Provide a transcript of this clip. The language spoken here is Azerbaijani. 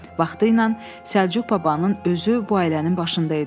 Vaxtiylə Səlcuq babanın özü bu ailənin başında idi.